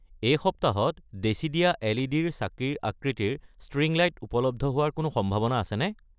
এই সপ্তাহতদেশীদিয়া এল.ই.ডি.-ৰ চাকিৰ আকৃতিৰ ষ্ট্ৰিং লাইট উপলব্ধ হোৱাৰ কোনো সম্ভাৱনা আছেনে ?